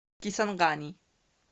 кисангани